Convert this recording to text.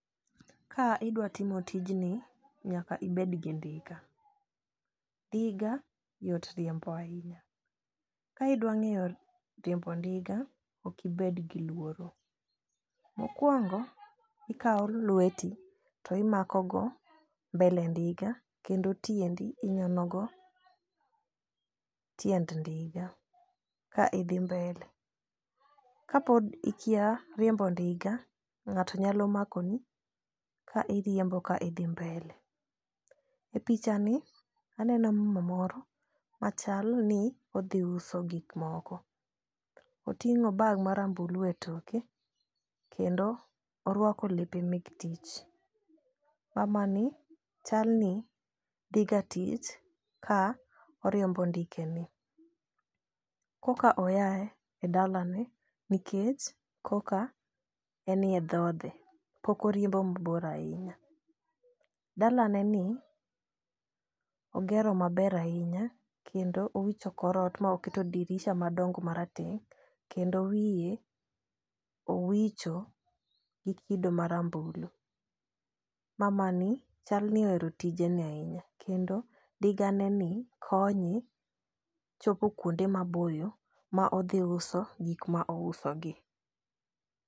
Ka idwa timo tijni nyaka ibed gi ndiga. Ndiga yot riembo ahinya ka idwaro ng'eyo riembo ndiga ok ibed gi luoro. Mokwongo, ikawo lweti to imako go mbele ndiga kendo tiendi inyono go tiend ndiga ka idhi mbele . Kapod ikia riembo ndiga ng'ato nyalo mako ni ka iriembo ka idhi mbele. E picha ni aneno mama moro machal ni odhi uso gik moko . Oting'o bag marambulu e toke kendo orwako lepe mek tich. Mama ni chal ni dhi ga tich ka oriembo ndike ni. Koka oya e dalane nikech koka enie dhode pok oriembo mabor ahinya. Dalane ni ogero maber ahinya kendo owicho korot ma oketo dirisa madongo marateng' kendo wiye owicho gi kido marambulu. Mamani chal ni ohero tijeni ahinya kendo ndiga ne ni konye chopo kuonde maboyo ma odhi uso gik ma ouso gi.